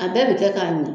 A bɛɛ bɛ kɛ k'a min